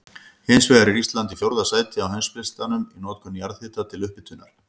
Hins vegar er Ísland í fjórða sæti á heimslistanum í notkun jarðhita til upphitunar.